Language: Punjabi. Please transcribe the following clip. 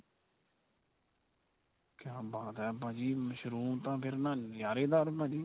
ਕਿਆ ਬਾਤ ਏ ਭਾਜੀ ਮਸ਼ਰੂਮ ਤਾਂ ਫੇਰ ਨਾ ਨਜਾਰੇਦਾਰ ਭਾਜੀ.